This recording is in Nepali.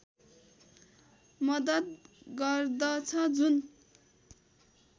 मद्दत गर्दछ जुन